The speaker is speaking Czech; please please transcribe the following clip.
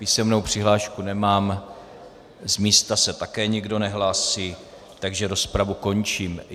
Písemnou přihlášku nemám, z místa se také nikdo nehlásí, takže rozpravu končím.